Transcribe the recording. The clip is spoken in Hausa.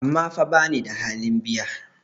amma fa bani da halin biya?